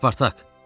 Spartak!